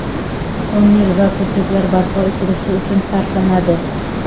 tonnel va ko‘priklar barpo etilishi uchun sarflanadi.